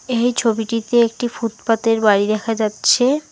এই ছবিটিতে একটি ফুটপাতের বাড়ি দেখা যাচ্ছে।